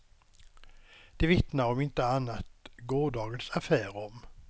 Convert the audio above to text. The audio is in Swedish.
Det vittnar om inte annat gårdagens affär om.